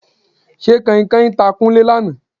Ṣé Kanhinkanhin ta Kúnlé lánàá?